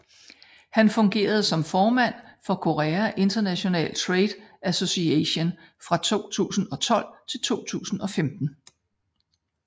Han fungerede som formand for Korea International Trade Association fra 2012 til 2015